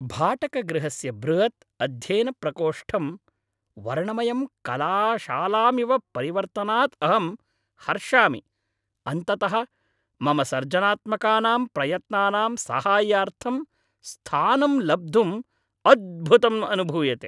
भाटकगृहस्य बृहत् अध्ययनप्रकोष्टं वर्णमयं कलाशालामिव परिवर्तनात् अहं हर्षामि अन्ततः मम सर्जनात्मकानां प्रयत्नानां साहाय्यार्थं स्थानं लब्धुम् अद्भुतम् अनुभूयते।